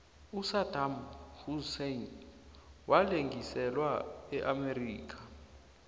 usadam husein walengiselwa eamerica